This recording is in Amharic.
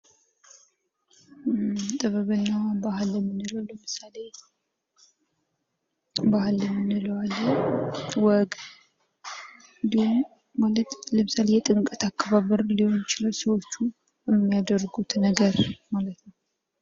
ጥበብና ባህል የምንለዉ ለምሳሌ ባህል የምንለዉ አለ። ወግ እንዲሁም ማለት የጥምቀት አከባበር ሊሆን ይችላል ሰዎቹ የሚያደርጉት ነገር ማለት ነዉ።